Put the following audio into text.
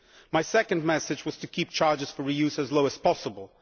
My second message was to keep charges for re use as low as possible.